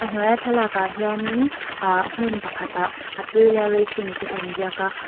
a hnuaiah thlalak ah hianin ah hmun pakhat ah aprilla racing tih a in ziak a.